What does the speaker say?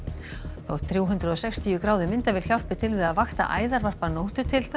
þótt þrjú hundruð og sextíu gráðu myndavél hjálpi til við að vakta æðarvarp að nóttu til